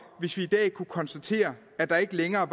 hvis vi i dag kunne konstatere at der ikke længere